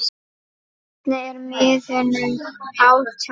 Hvernig er miðunum háttað?